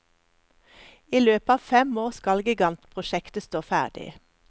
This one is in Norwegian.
I løpet av fem år skal gigantprosjektet stå ferdig.